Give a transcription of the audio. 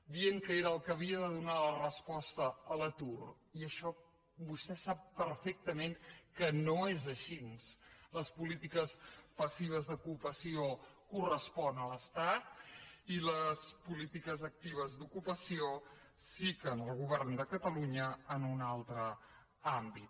dient que era el que havia de donar la resposta a l’atur i això vostè sap perfectament que no és així les polítiques passives d’ocupació corresponen a l’estat i les polítiques actives d’ocupació sí que al govern de catalunya en un altre àmbit